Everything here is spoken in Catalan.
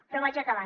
però vaig acabant